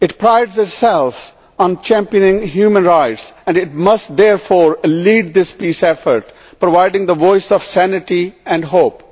It prides itself on championing human rights and it must therefore lead this peace effort, providing the voice of sanity and hope.